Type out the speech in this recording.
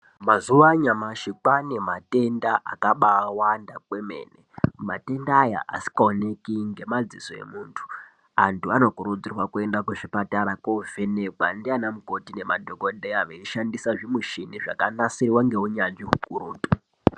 Mazuva anyamashi kwane matenda akaba wanda kwe mene matenda aya asinga onekwi ngema dziso emuntu antu ano kurudzirwa kuenda ku zvipatara ko vhenekwa ndiana mukoti ne madhokoteya veishandisa zvi michini zvaka nasirwa ngeunyanzvi ukurutu .